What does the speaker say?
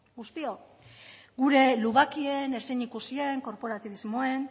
guztiok gure lubakien ezin ikusien korporatibismoen